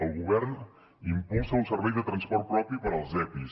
el govern impulsa un servei de transport propi per als epis